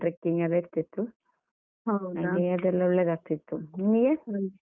Trekking ಎಲ್ಲ ಇರ್ತಿತ್ತು. ಅದೆಲ್ಲ ಒಳ್ಳೆದಾಗ್ತಿತ್ತು, ನಿಮ್ಗೆ?